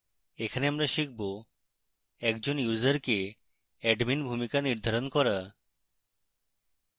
এখানে আমরা শিখব: একজন ইউসারকে admin ভূমিকা নির্ধারণ করা